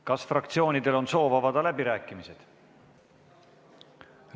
Kas fraktsioonidel on soov avada läbirääkimised?